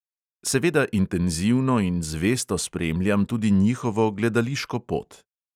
Seveda intenzivno in zvesto spremljam tudi njihovo gledališko pot.